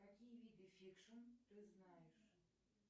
какие виды фикшн ты знаешь